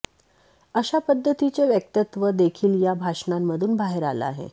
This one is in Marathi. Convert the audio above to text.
अशा पद्धतीचं वक्तव्य देखील या भाषणांमधून बाहेर आलं आहे